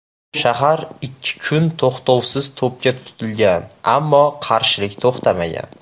Shahar ikki kun to‘xtovsiz to‘pga tutilgan, ammo qarshilik to‘xtamagan.